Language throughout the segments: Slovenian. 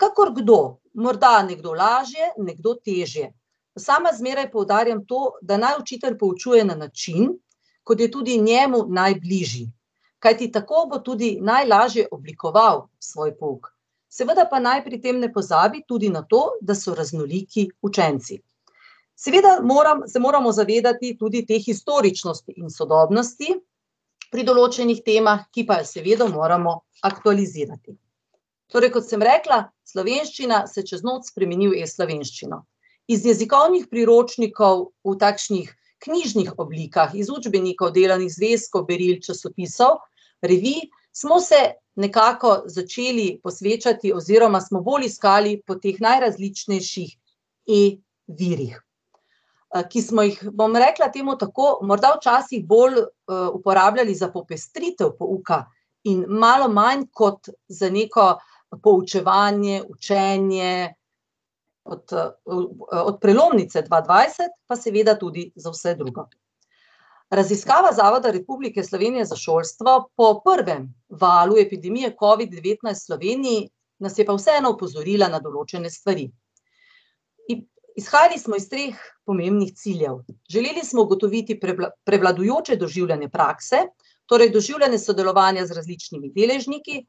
Kakor kdo, morda nekdo lažje, nekdo težje. Sama zmeraj poudarjam to, da naj učitelj poučuje na način, kot je tudi njemu najbližji. Kajti tako bo tudi najlažje oblikoval svoj pouk. Seveda pa naj pri tem ne pozabi tudi na to, da so raznoliki učenci. Seveda moram, se moramo zavedati tudi te historičnosti in sodobnosti pri določenih temah, ki pa jih seveda moramo aktualizirati. Torej, kot sem rekla, slovenščina se čez noč spremeni v e-slovenščino. Iz jezikovnih priročnikov, v takšnih knjižnih oblikah, iz učbenikov, delovnih zvezkov, beril, časopisov, revij smo se nekako začeli posvečati oziroma smo bolj iskali po teh najrazličnejših e-virih, ki smo jih, bom rekla temu tako, morda včasih bolj, uporabljali za popestritev pouka in malo manj kot za neko poučevanje, učenje, kot, od prelomnice dva dvajset pa seveda tudi za vse drugo. Raziskava Zavoda Republike Slovenije za šolstvo po prvem valu epidemije covid-devetnajst v Sloveniji nas je pa vseeno opozorila na določene stvari. izhajali smo iz treh pomembnih ciljev. Želeli smo ugotoviti prevladujoče doživljanje prakse, torej doživljanje sodelovanja z različnimi deležniki,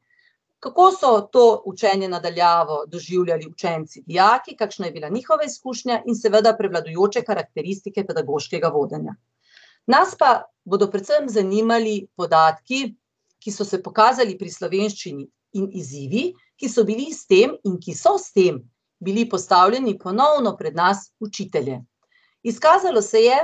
kako so to učenje na daljavo doživljali učenci, dijaki, kakšna je bila njihova izkušnja, in seveda prevladujoče karakteristike pedagoškega vodenja. Nas pa bodo predvsem zanimali podatki, ki so se pokazali pri slovenščini, in izzivi, ki so bili s tem in ki so s tem bili postavljeni ponovno pred nas, učitelje. Izkazalo se je,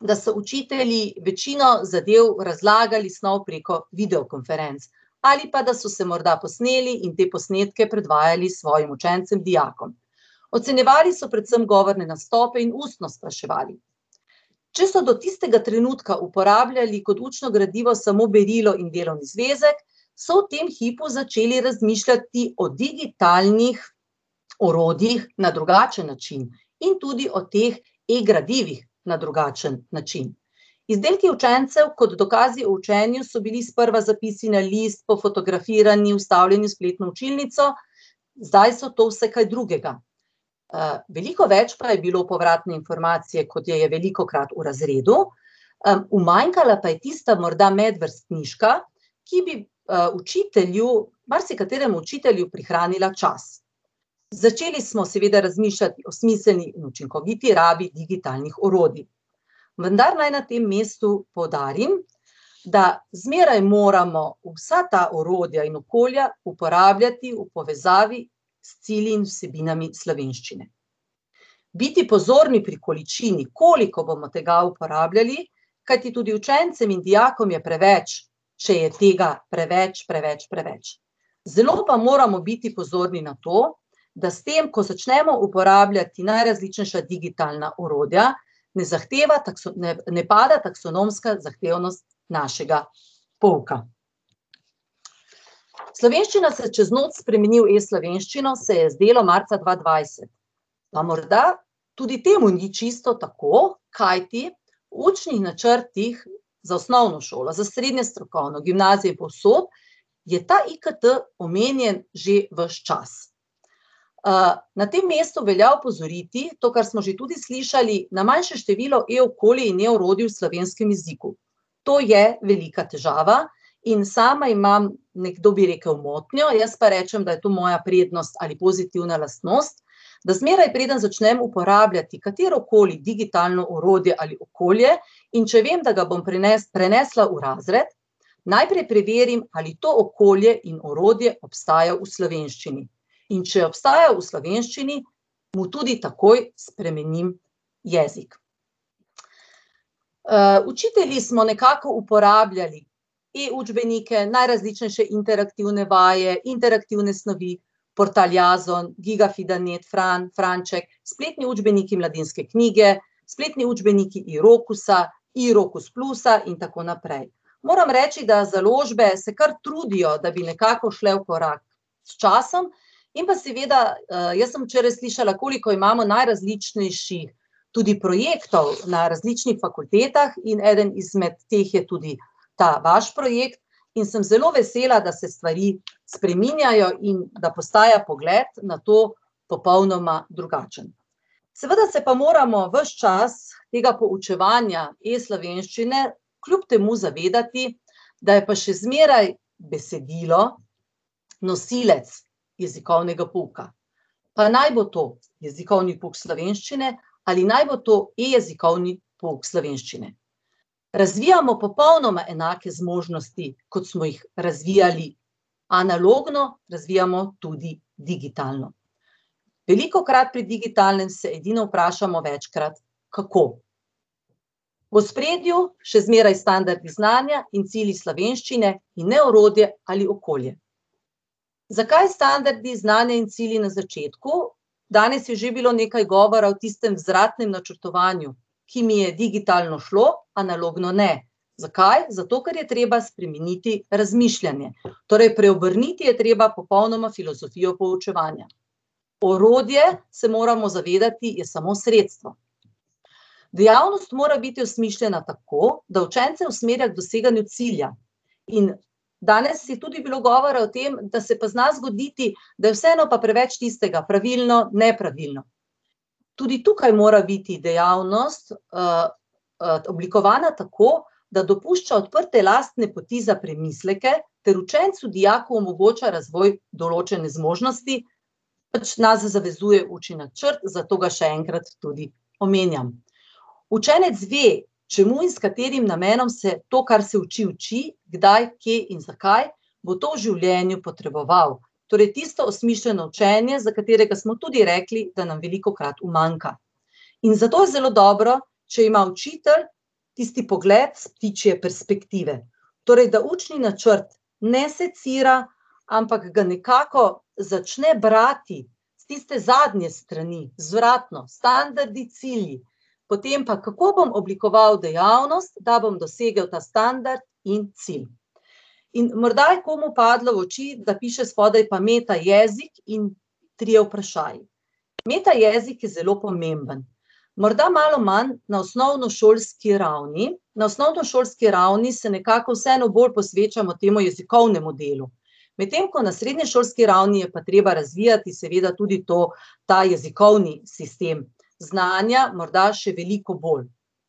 da so učitelji večino zadev razlagali snov preko videokonferenc ali pa da so se morda posneli in te posnetke predvajali svojim učencem, dijakom. Ocenjevali so predvsem govorne nastope in ustno spraševali. Če so do tistega trenutka uporabljali kot učno gradivo samo berilo in delovni zvezek, so v tem hipu začeli razmišljati o digitalnih orodjih na drugačen način in tudi o teh e-gradivih na drugačen način. Izdelki učencev kot dokazi o učenju so bili sprva zapisi na list, pofotografirani, vstavljeni v spletno učilnico, zdaj so to vse kaj drugega. veliko več pa je bilo povratne informacije, kot je je velikokrat v razredu, umanjkala pa je tista morda medvrstniška, ki bi, učitelju, marsikateremu učitelju prihranila čas. Začeli smo seveda razmišljati o smiselni in učinkoviti rabi digitalnih orodij. Vendar naj na tem mestu poudarim, da zmeraj moramo vsa ta orodja in okolja uporabljati v povezavi s cilji in vsebinami slovenščine. Biti pozorni pri količini, koliko bomo tega uporabljali, kajti tudi učencem in dijakom je preveč, če je tega preveč, preveč, preveč. Zelo pa moramo biti pozorni na to, da s tem, ko začnemo uporabljati najrazličnejša digitalna orodja, ne ne, ne pada taksonomska zahtevnost našega pouka. Slovenščina se čez noč spremeni v e-slovenščino, se je zdelo marca dva dvajset. Pa morda tudi temu ni čisto tako, kajti v učnih načrtih za osnovno šolo, za srednjo strokovno, gimnazijo in povsod je ta IKT omenjen že ves čas. na tem mestu velja opozoriti, to, kar smo že tudi slišali, na manjše število e-okolij in e-orodij v slovenskem jeziku. To je velika težava in sama imam, nekdo bi rekli motnjo, jaz pa rečem, da je to moja prijetnost ali pozitivna lastnost, da zmeraj, preden začnem uporabljati katerokoli digitalno orodje ali okolje, in če vem, da ga bom prenesla v razred, najprej preverim, ali to okolje in orodje obstaja v slovenščini. In če obstaja v slovenščini, mu tudi takoj spremenim jezik. učitelji smo nekako uporabljali e-učbenike, najrazličnejše interaktivne vaje, interaktivne snovi, portal Jazon, Gigafida net, Fran, Franček, spletni učbeniki Mladinske knjige, spletni učbeniki i-Rokusa, i-Rokus plusa in tako naprej. Moram reči, da založbe se kar trudijo, da bi nekako šle v korak s časom, in pa seveda, jaz sem včeraj slišala, koliko imamo najrazličnejših tudi projektov na različnih fakultetah, in eden izmed teh je tudi ta vaš projekt in sem zelo vesela, da se stvari spreminjajo in da postaja pogled na to popolnoma drugačen. Seveda se pa moramo ves čas tega poučevanja e-slovenščine kljub temu zavedati, da je pa še zmeraj besedilo nosilec jezikovnega pouka. Pa naj bo to jezikovni pouk slovenščine ali naj bo to e-jezikovni pouk slovenščine. Razvijamo popolnoma enake zmožnosti, kot smo jih razvijali analogno, razvijamo tudi digitalno. Velikokrat pri digitalnem se edino vprašamo večkrat, kako v ospredju še zmeraj standardu znanja cilji slovenščine in ne orodje ali okolje. Zakaj standardni, znanje in cilji na začetku? Danes je že bilo nekaj govora o tistem vzvratnem načrtovanju, ki mi je digitalno šlo, analogno ne. Zakaj? Zato, ker je treba spremeniti razmišljanje. Torej preobrniti je treba popolnoma filozofijo poučevanja. Orodje, se moramo zavedati, je samo sredstvo. Dejavnost mora biti osmišljena tako, da učence usmerja k doseganju cilja. In danes je tudi bilo govora o tem, da se pa zna zgoditi, da je vseeno pa preveč tistega: pravilno, nepravilno. Tudi tukaj mora biti dejavnost, oblikovana tako, da dopušča odprte lastne poti za premisleke ter učencu, dijaku omogoča razvoj določene zmožnosti, pač nas navezuje učni načrt, zato ga še enkrat tudi omenjam. Učenec ve, čemu in s katerim namenom se to, kar se uči, uči, kdaj, kje in zakaj bo to v življenju potreboval. Torej tisto osmišljeno učenje, za katerega smo tudi rekli, da nam velikokrat umanjka. In zato je zelo dobro, če ima učitelj tisti pogled s ptičje perspektive. Torej da učni načrt ne secira, ampak ga nekako začne brati. Tiste zadnje strani, vzvratno, standardi, cilji. Potem pa, kako bom oblikoval dejavnost, da bom dosegel nadstandard in cilj. In morda je komu padlo v oči, da piše spodaj pa metajezik in trije vprašaji. Metajezik je zelo pomemben. Morda malo manj na osnovnošolski ravni, na osnovnošolski ravni se nekako vseeno bolj posvečamo temu jezikovnemu delu. Medtem ko na srednješolski ravni je pa treba razvijati seveda tudi to, ta jezikovni sistem znanja, morda še veliko bolj.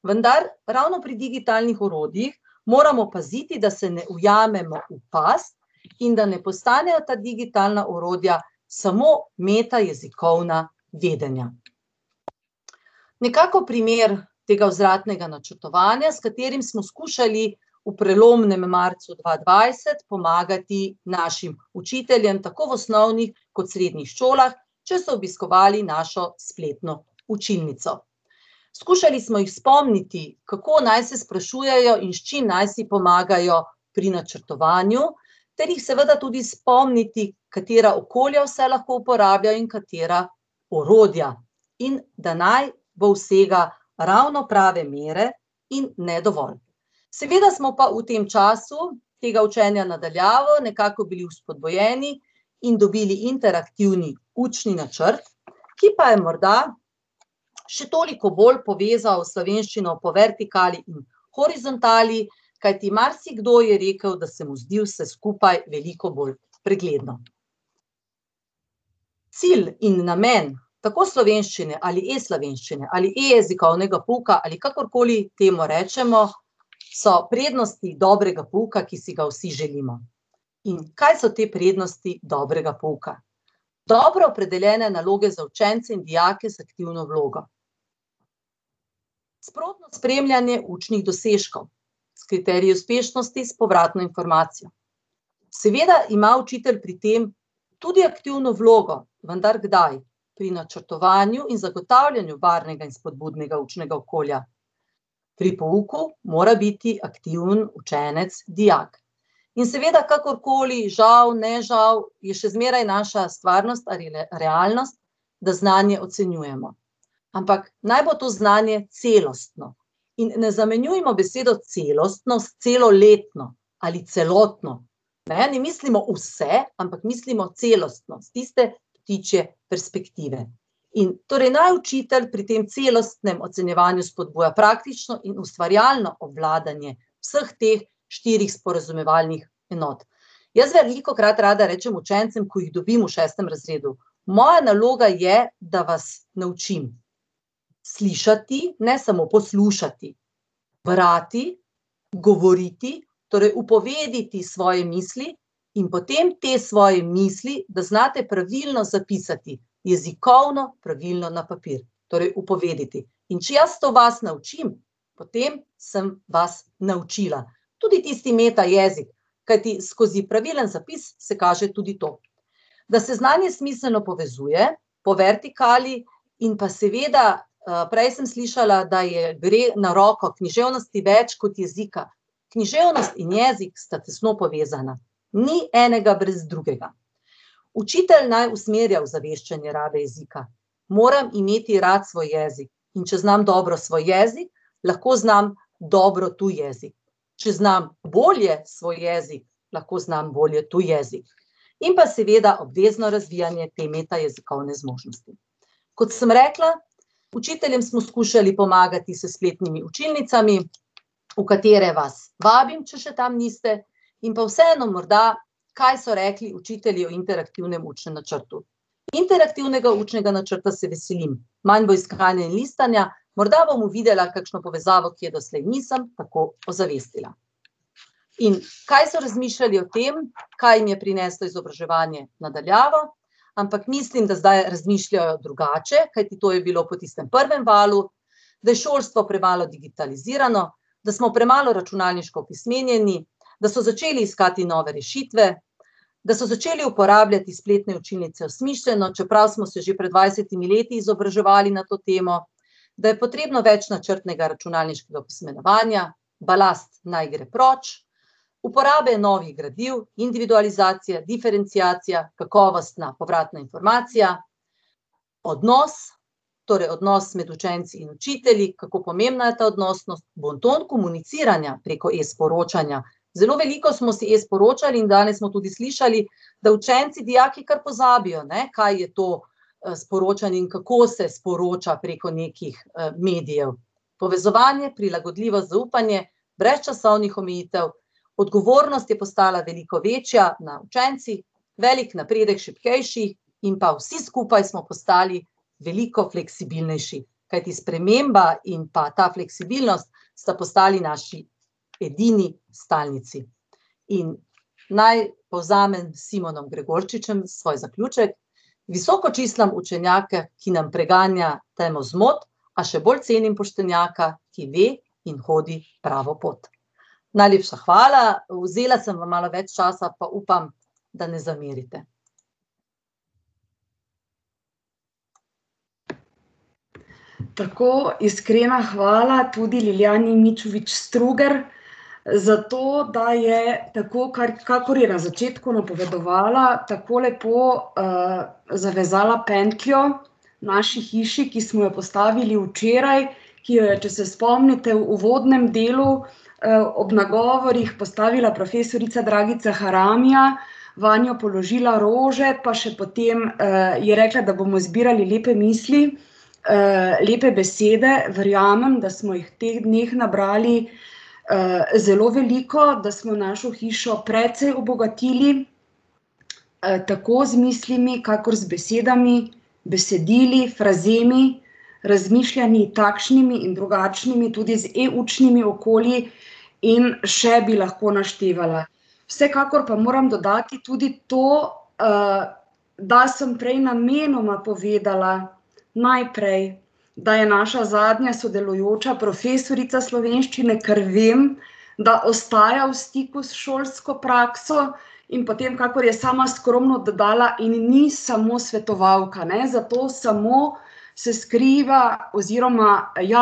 Vendar ravno pri digitalnih orodjih moramo paziti, da se ne ujamemo v past in da ne postanejo ta digitalna orodja samo metajezikovna vedenja. Nekako primer tega vzvratnega načrtovanja, s katerim smo skušali v prelomnem marcu dva dvajset pomagati našim učiteljem, tako v osnovnih kot srednjih šolah, če so obiskovali našo spletno učilnico. Skušali smo jih spomniti, kako naj se sprašujejo in s čim naj si pomagajo pri načrtovanju, ter jih seveda tudi spomniti, katera okolja vse lahko uporabljajo in katera orodja, in da naj bo vsega ravno prave mere in ne dovolj. Seveda smo pa v tem času tega učenja na daljavo nekako bili vzpodbujeni in dobili interaktivni učni načrt, ki pa je morda še toliko bolj povezal slovenščino po vertikali, horizontali, kajti marsikdo je rekel, da se mu zdi vse skupaj veliko bolj pregledno. Cilj in namen tako slovenščine ali e-slovenščine ali e-jezikovnega pouka ali kakorkoli temu rečemo so prednosti dobrega pouka, ki si ga vsi želimo. In kaj so te prednosti dobrega pouka? Dobro opredeljene naloge za učence in dijake z aktivno vlogo. Sprotno spremljanje učnih dosežkov s kriteriji uspešnosti s povratno informacijo. Seveda ima učitelj pri tem tudi aktivno vlogo, vendar kdaj? Pri načrtovanju in zagotavljanju varnega in vzpodbudnega učnega okolja. Pri pouku mora biti aktiven učenec, dijak. In seveda, kakorkoli, žal, ne žal, je še zmeraj naša stvarnost ali realnost, da znanje ocenjujemo. Ampak naj bo to znanje celostno. In ne zamenjujmo besedo celostno s celoletno ali celotno, ne, ne mislimo vse, ampak mislimo celostno, s tiste ptičje perspektive. In torej naj učitelj pri tem celostnem ocenjevanju spodbuja praktično in ustvarjalno obvladanje vseh teh štirih sporazumevalnih enot. Jaz zdaj velikokrat rada rečem učencem, ko jih dobim v šestem razredu: "Moja naloga je, da vas naučim slišati, ne samo poslušati. Brati, govoriti, torej upovediti svoje misli, in potem te svoje misli, da znate pravilno zapisati jezikovno pravilno na papir. Torej upovediti. In če jaz to vas naučim, potem sem vas naučila." Tudi tisti metajezik, kajti skozi pravilen zapis se kaže tudi to, da se znanje smiselno povezuje po vertikali, in pa seveda, prej sem slišala, da je, gre na roko književnosti več kot jezika. Književnost in jezik sta tesno povezana. Ni enega brez drugega. Učitelj naj usmerja ozaveščanje rabe jezika. Moram imeti rad svoj jezik. In če znam dobro svoj jezik, lahko znam dobro tuji jezik. Če znam bolje svoj jezik, lahko znam bolje tuji jezik. In pa seveda obvezno razvijanje te metajezikovne zmožnosti. Kot sem rekla, učiteljem smo skušali pomagati s spletnimi učilnicami, v katere vas vabim, če še tam niste, in pa vseeno morda, kaj so rekli učitelji o interaktivnem učnem načrtu: interaktivnega učnega načrta se veselim. manj bo iskanja in listanja, morda bom uvidela kakšno povezavo, ki je doslej nisem, tako uzavestila. In kaj so razmišljali o tem, kaj jim je prineslo izobraževanje na daljavo, ampak mislim, da zdaj razmišljajo drugače, kajti to je bilo potem po tistem prvem valu: da je šolstvo premalo digitalizirano, da smo premalo računalniško opismenjeni, da so začeli iskati nove rešitve, da so začeli uporabljati spletne učilnice osmišljeno, čeprav smo se že pred dvajsetimi leti izobraževali na to temo, da je potrebno več načrtnega računalniškega opismenjevanja, balast naj gre proč, uporabe novih gradiv, individualizacija, diferenciacija, kakovostna povratna informacija odnos, torej odnos med učenci in učitelji, kako pomembna je ta odnosnost, bonton komuniciranja preko e-sporočanja, zelo veliko smo si e-sporočali in danes smo tudi slišali, da učenci, dijaki kar pozabijo, ne, kaj je to, sporočanje in kako se sporoča preko nekih, medijev. Povezovanje, prilagodljivo zaupanje, brez časovnih omejitev, odgovornost je postala veliko večja na učencih, velik napredek šibkejših in pa vsi skupaj smo postali veliko fleksibilnejši. Kajti sprememba in pa ta fleksibilnost sta postali naši edini stalnici. In naj povzamem s Simonom Gregorčičem svoj zaključek: "Visoko čislam učenjaka, ki nam preganja temo zmot, a še bolj cenim poštenjaka, ki ve in hodi pravo pot." Najlepša hvala, vzela sem vam malo več časa, pa upam, da ne zamerite. Tako, iskrena hvala tudi Ljiljani Mičovič Strugar za to, da je, tako kakor je na začetku napovedovala, tako lepo, zavezala pentljo naši hiši, ki smo jo postavili včeraj, ki jo je, če se spomnite, v uvodnem delu, ob nagovorih postavila profesorica Dragica Haramija, vanjo položila rože pa še potem, je rekla, da bomo zbirali lepe misli, lepe besede, verjamem, da smo jih v teh dneh nabrali, zelo veliko, da smo našo hišo precej obogatili, tako z mislimi kakor z besedami, besedili, frazemi, razmišljanji, takšnimi in drugačnimi, tudi z e-učnimi okolji in še bi lahko naštevala. Vsekakor pa moram dodati tudi to, da sem prej namenoma povedala najprej, da je naša zadnja sodelujoča profesorica slovenščine, ker vem, da ostaja v stiku s šolsko prakso, in potem, kakor je sama skromno dodala, in ni samo svetovalka, ne, za to samo se skriva oziroma, ja,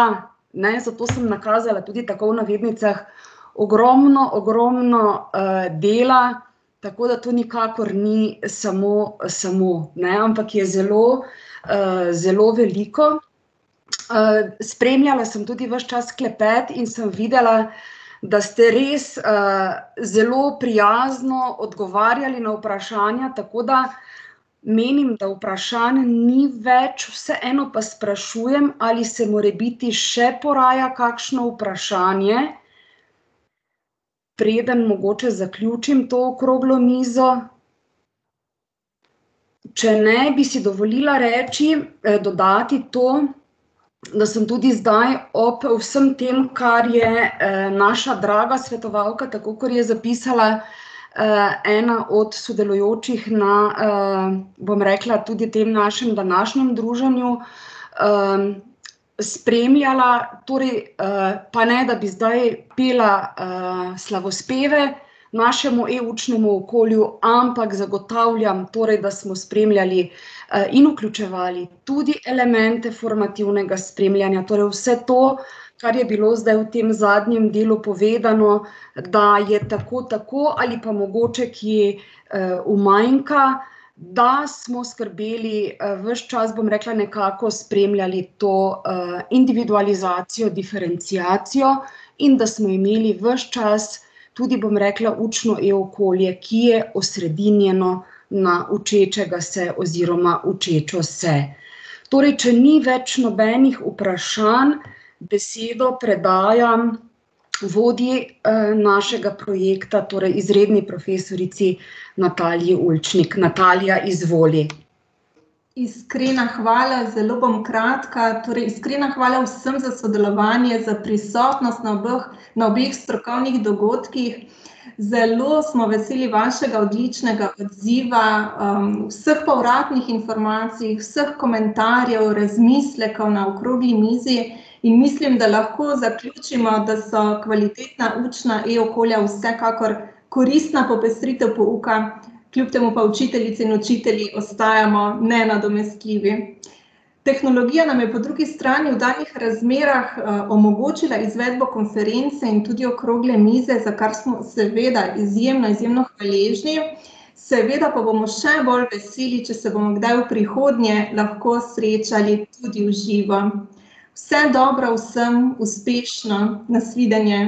ne, zato sem nakazala tudi tako v navednicah, ogromno, ogromno, dela, tako da to nikakor ni samo, samo, ne, ampak je zelo, zelo veliko. spremljala sem tudi ves čas klepet in sem videla, da ste res, zelo prijazno odgovarjali na vprašanja, tako da menim, da vprašanj ni več, vseeno pa sprašujem, ali se morebiti še poraja kakšno vprašanje? Preden mogoče zaključim to okroglo mizo? Če ne, bi si dovolila reči, dodati to, da sem tudi zdaj ob vsem tem, kar je, naša draga svetovalka, tako kot je zapisala, ena od sodelujočih na, bom rekla, tudi tem našim današnjem druženju, spremljala torej, pa ne da bi zdaj pela, slavospeve našemu e-učnemu okolju, ampak zagotavljam torej, da smo spremljali, in vključevali tudi elemente formativnega spremljanja, torej vse to, kar je bilo zdaj v tem zadnjem delu povedano, da je tako tako ali pa mogoče kje, umanjka, da smo skrbeli, ves čas, bom rekla, nekako spremljali to, individualizacijo, diferenciacijo in da smo imeli ves čas tudi, bom rekla, učno e-okolje, ki je osredinjeno na učečega se oziroma učečo se. Torej če ni več nobenih vprašanj, besedo predajam vodji, našega projekta, torej izredni profesorici Nataliji Ulčnik, Natalija, izvoli. Iskrena hvala, zelo bom kratka, torej iskrena hvala vsem za sodelovanje, za prisotnost na obeh, na obeh strokovnih dogodkih. Zelo smo veseli vašega odličnega odziva, vseh povratnih informacij, vseh komentarjev, razmislekov na okrogli mizi. In mislim, da lahko zaključimo, da so kvalitetna učna e-okolja vsekakor koristna popestritev pouka, kljub temu pa učiteljice in učitelji ostajamo nenadomestljivi. Tehnologija nam je po drugi strani v takih razmerah, omogočila izvedbo konference in tudi okrogle mize, za kar smo seveda izjemno, izjemno hvaležni. Seveda pa bomo še bolj veseli, če se bomo kdaj v prihodnje lahko srečali tudi v živo. Vse dobro vsem, uspešno, na svidenje.